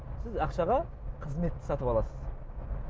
сіз ақшаға қызметті сатып аласыз